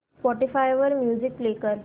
Spotify वर music play कर